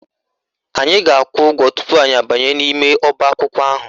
Anyị ga-akwụ ụgwọ tupu anyị abanye n'ime ọbaakwụkwọ ahụ